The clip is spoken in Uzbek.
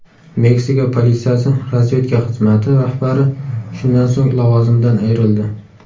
Meksika politsiyasi razvedka xizmati rahbari shundan so‘ng lavozimidan ayrildi.